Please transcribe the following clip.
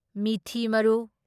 ꯃꯤꯊꯤ ꯃꯔꯨ